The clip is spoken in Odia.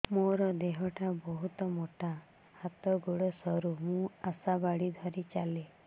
ମୋର ଦେହ ଟା ବହୁତ ମୋଟା ହାତ ଗୋଡ଼ ସରୁ ମୁ ଆଶା ବାଡ଼ି ଧରି ଚାଲେ